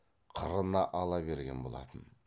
қырына ала берген болатын